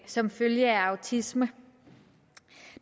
som følge af autisme